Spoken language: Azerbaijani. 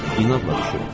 İnadla ilişib.